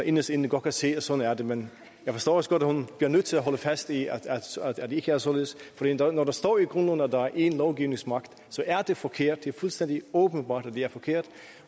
inderst inde godt kan se at sådan er det men jeg forstår også godt at hun bliver nødt til at holde fast i at det ikke er således men når der står i grundloven at der er én lovgivningsmagt så er det forkert det er fuldstændig åbenbart at det er forkert